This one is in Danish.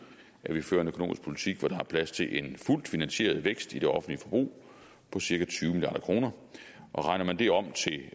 at vi fører en økonomisk politik hvor der er plads til en fuldt finansieret vækst i det offentlige forbrug på cirka tyve milliard kroner regner man det om